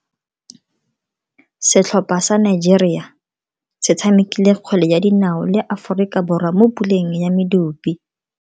Setlhopha sa Nigeria se tshamekile kgwele ya dinao le Aforika Borwa mo puleng ya medupe.